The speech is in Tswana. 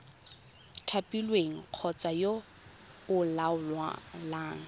thapilweng kgotsa yo o laolang